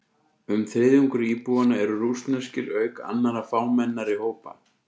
Um þriðjungur íbúanna eru rússneskir, auk annarra fámennari hópa.